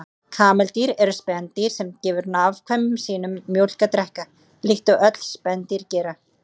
Kameldýr eru spendýr sem gefur afkvæmum sínum mjólk að drekka, líkt og öll spendýr gera.